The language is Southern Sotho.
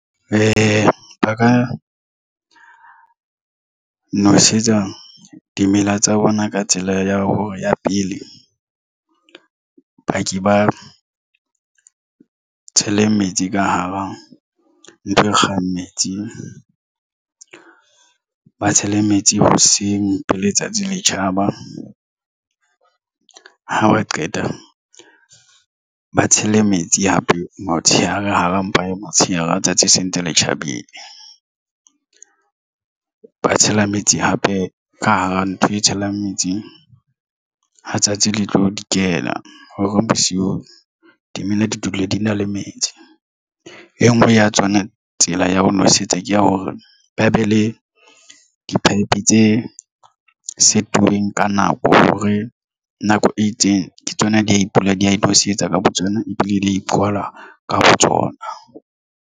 Ba ka nosetsa dimela tsa bona ka tsela ya hore ya pele ba ke ba tshele metsi ka hara ntho e kgang metsi ba tshele metsi hoseng pele letsatsi le tjhaba haba qeta ba tshele metsi hape motshehare ka hara mpa ya motshehare letsatsi se ntse le tjhabile. Ba tshela metsi hape ka hara ntho e tshelang metsi ha tsatsi le tlo di kena hore bosiu dimela di dule di na le metsi. E nngwe ya tsona tsela ya ho nosetsa ke ya hore ba be le di pipe tse sitweng ka nako hore nako e itseng ke tsona. Dipula di tlo se etsa ka bo tsona ebile di ya ipabola ka botsona. The